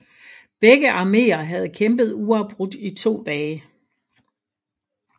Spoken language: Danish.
Begge armeer havde kæmpet uafbrudt i to dage